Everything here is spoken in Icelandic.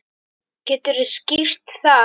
Geturðu skýrt það?